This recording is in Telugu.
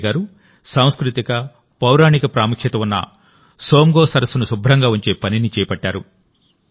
సంగే గారు సాంస్కృతిక పౌరాణిక ప్రాముఖ్యత ఉన్న సోమ్గో సరస్సును శుభ్రంగా ఉంచే పనిని చేపట్టారు